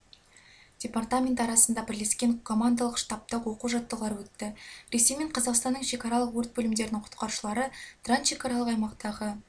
департаменті арасында бірлескен командалық-штабтық оқу-жаттығулар өтті ресей мен қазақстанның шекаралық өрт бөлімдерінің құтқарушылары трансшекаралық аймақтағы